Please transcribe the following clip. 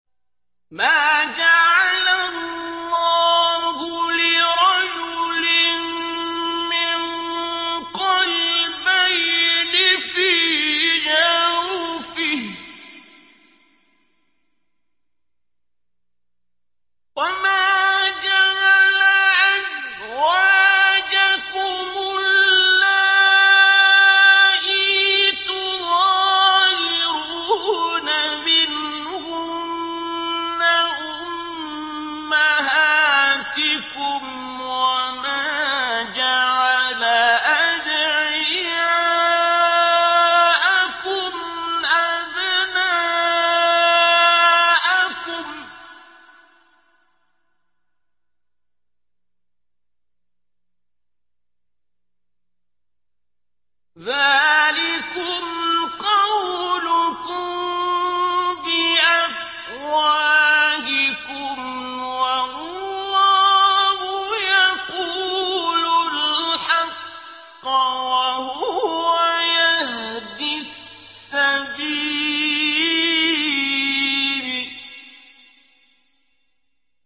مَّا جَعَلَ اللَّهُ لِرَجُلٍ مِّن قَلْبَيْنِ فِي جَوْفِهِ ۚ وَمَا جَعَلَ أَزْوَاجَكُمُ اللَّائِي تُظَاهِرُونَ مِنْهُنَّ أُمَّهَاتِكُمْ ۚ وَمَا جَعَلَ أَدْعِيَاءَكُمْ أَبْنَاءَكُمْ ۚ ذَٰلِكُمْ قَوْلُكُم بِأَفْوَاهِكُمْ ۖ وَاللَّهُ يَقُولُ الْحَقَّ وَهُوَ يَهْدِي السَّبِيلَ